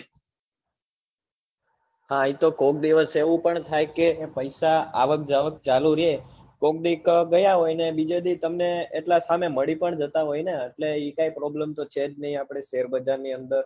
હા એતો કોક દિવસ એવું પણ થાય કે પૈસા આવક જાવક ચાલુ રે કોક ડીક ગયા હોય અને બીજે ડી તમને એટલા સામે મળી પણ જતા હોય ને એટલે એ કાઈ problem તો છે જ નઈ આપડે share બજાર ની અદર